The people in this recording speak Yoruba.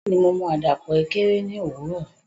Bẹ́ẹ̀ni, mo mu àdàpọ̀ Ekere ní òwúrọ̀